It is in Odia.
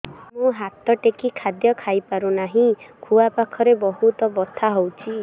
ମୁ ହାତ ଟେକି ଖାଦ୍ୟ ଖାଇପାରୁନାହିଁ ଖୁଆ ପାଖରେ ବହୁତ ବଥା ହଉଚି